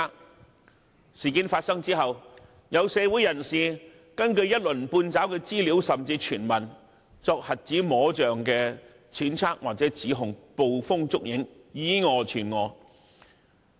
在事件發生後，有社會人士根據一鱗半爪的資料甚至傳聞，作瞎子摸象的揣測或指控，捕風捉影，以訛傳訛。